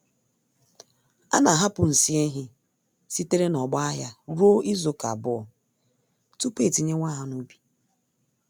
Ana ahapụ nsị ehi sitere n'ọgbọ ahịa ruo izuka abụọ tupu etinyewe ha n'ubi